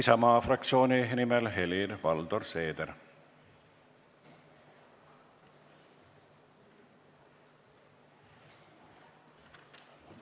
Isamaa fraktsiooni nimel Helir-Valdor Seeder.